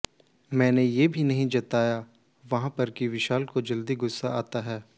मैंने ये भी नहीं जताया वहां पर कि विशाल को जल्दी गुस्सा आता है